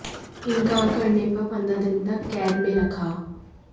इन्कार करने पर पंद्रह दिन तक कैद में रखा